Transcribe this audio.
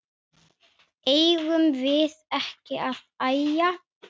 Eigum við ekki að æja?